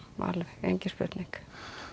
engin spurning